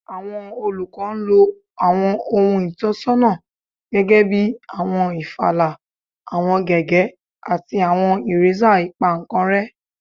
Awọn olukọ lo awọn ohun itọnisọna gẹgẹbi awọn ifààlà, awọn gègé, ati awọn iresa ipankanre